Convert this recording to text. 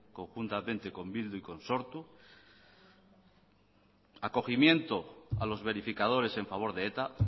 conjuntamente con bildu y con sortu acogimiento a los verificadores en favor de eta